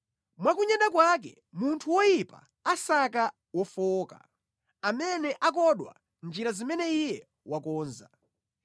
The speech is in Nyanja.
Mwa kunyada kwake munthu woyipa asaka wofowoka, amene akodwa mʼnjira zimene iye wakonza.